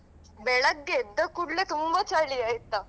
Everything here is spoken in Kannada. ಬೆಳಗ್ಗೆ ಎದ್ದ ಕೂಡ್ಲೆ ತುಂಬಾ ಚಳಿ ಆಯ್ತಾ.